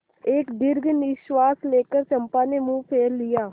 एक दीर्घ निश्वास लेकर चंपा ने मुँह फेर लिया